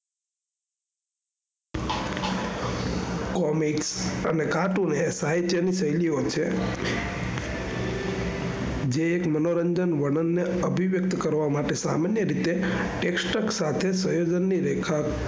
Comic ધાતુ સાહિત્ય ની શેલ્લીઓ છે. જે એક મનોરંજન વર્ણન ને અભિવ્યક્ત કરવા માટે સામે ની રીતે એક શખ્સ સાથે સ્રેઝન ની રેખા,